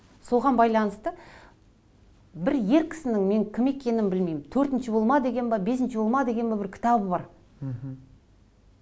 соған байланысты бір ер кісінің мен кім екенін білмеймін төртінші болма деген бе бесінші болма деген бе бір кітабы бар мхм